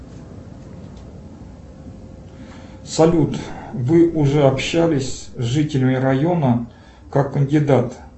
салют вы уже общались с жителями района как кандидат